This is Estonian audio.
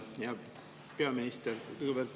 Hea peaminister!